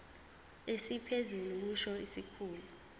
esiphezulu kusho isikhulu